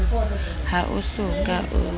ha o so ka o